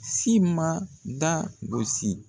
Si man da gosi